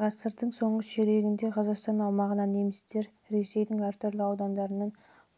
ғасырдың соңғы ширегінде қазақстан аумағына немістер ресейдің әр түрлі аудандарынан